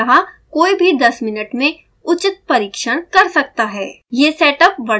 अतः कोई भी 10 मिनट में उचित परिक्षण का सकता है